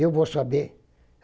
Eu vou saber.